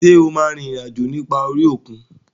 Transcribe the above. Ṣé o máa rin ìrìn àjò nípa orí òkun?